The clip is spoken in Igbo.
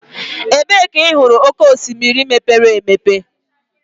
Ebee ka ị hụrụ oké osimiri mepere emepe?